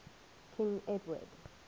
king edward